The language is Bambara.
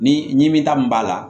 Ni ɲimi ta min b'a la